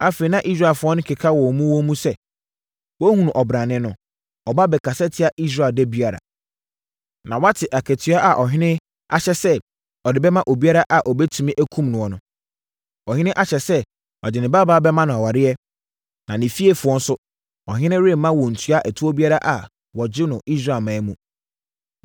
Afei, na Israelfoɔ keka wɔ wɔn mu sɛ, “Woahunu ɔbrane no? Ɔba bɛkasa tiaa Israel da biara. Na woate akatua a ɔhene ahyɛ sɛ ɔde bɛma obiara a ɔbɛtumi akum noɔ no? Ɔhene ahyɛ sɛ ɔde ne babaa bɛma no aware, na ne fiefoɔ nso, ɔhene remma wɔntua ɛtoɔ biara a wɔgye no Israelman mu.”